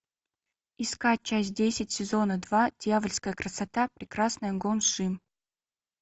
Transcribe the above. искать часть десять сезона два дъявольская красота прекрасная гон шим